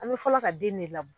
An bɛ fɔlɔ ka den de labɔ;